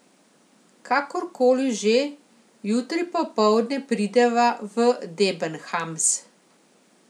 Kakor koli že, jutri popoldne prideva v Debenhams.